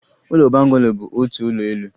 Ụlọ bungalow bụ otu ụlọ elu